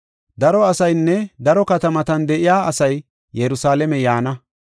“Daro asaynne daro katamatan de7iya asay Yerusalaame yaana.